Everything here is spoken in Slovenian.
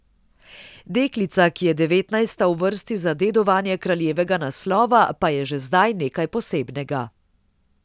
Deklica, ki je devetnajsta v vrsti za dedovanje kraljevega naslova, pa je že zdaj nekaj posebnega.